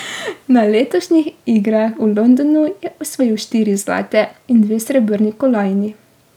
Na letošnjih igrah v Londonu je osvojil štiri zlate in dve srebrni kolajni.